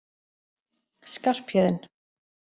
Skarphéðinn